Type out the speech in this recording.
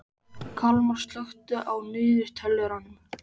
Kalmar, slökktu á niðurteljaranum.